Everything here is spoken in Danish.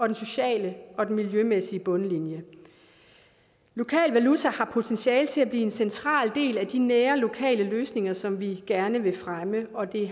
den sociale og den miljømæssige bundlinje lokal valuta har potentiale til at blive en central del af de nære lokale løsninger som vi gerne vil fremme og det